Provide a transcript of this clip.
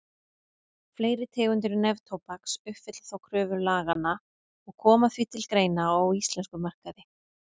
Fleiri tegundir neftóbaks uppfylla þó kröfur laganna og koma því til greina á íslenskum markaði.